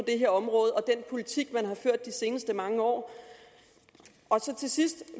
det område og i den politik man har ført de seneste mange år til sidst